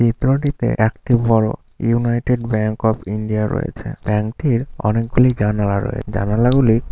চিত্র টিতে একটি বড় ইউনাইটেড ব্যাংক অফ ইন্ডিয়া রয়েছে। ব্যাংকটির অনেকগুলি জানালা রয়ে। জানালা গুলি--